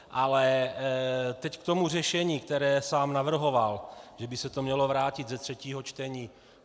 Ale teď k tomu řešení, které sám navrhoval, že by se to mělo vrátit ze třetího čtení.